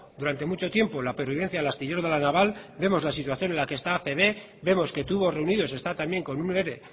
durante mucho tiempo la pervivencia del astillero de la naval vemos la situación en la que está acb vemos que tubos reunidos está también con un ere